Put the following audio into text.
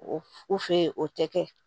O u fɛ yen o tɛ kɛ